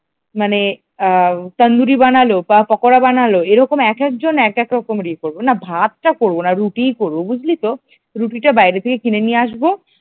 মানে আ তন্দুরি বানালো পকোড়া বানালো এরকম একেক জন একেক রকমের এ করবো না ভাতটা করবো না রুটি করব বুঝলি তো রুটিটা বাইরে থেকে কিনে নিয়ে আসব।